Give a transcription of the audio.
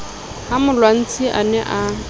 ha molwantsi a ne a